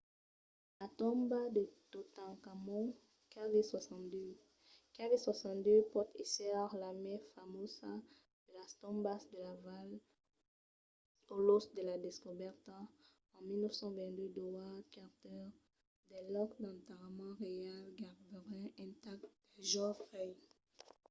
la tomba de totankhamon kv62. kv62 pòt èsser la mai famosa de las tombas de la val lo lòc de la descobèrta en 1922 d’howard carter del lòc d'enterrament reial gaireben intacte del jove rei